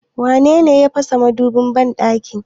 Wanene ya fasa madubin banɗakin?